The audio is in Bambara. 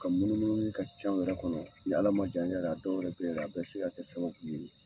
Ka munu munu munu ka ca wɛrɛ kɔnɔ, ni ala ma jan kɛ yɛrɛ a dɔw yɛrɛ te yen yɛrɛ a bɛɛ be se kɛ sababu ye